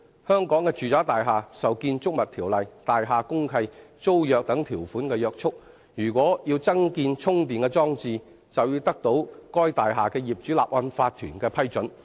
香港的住宅大廈受《建築物條例》、大廈公契和租約等條款約束，如果要增建充電裝置，便要得到該大廈的業主立案法團批准。